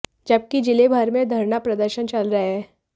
जबकि जिले भर में धरना प्रदर्शन चल रहे हैं